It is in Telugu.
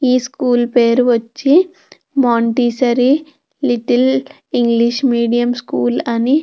ఈ స్కూలు పేరు వచ్చి Montessori little English medium school అని --